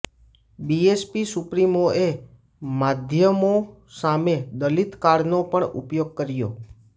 BSP સુપ્રીમોએ માધ્યમો સામે દલિત કાર્ડનો પણ ઉપયોગ કર્યો